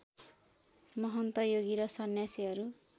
महन्त योगी र सन्न्यासीहरू